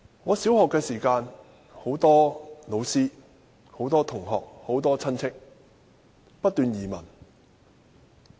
我讀小學時，很多老師、同學和親戚移民。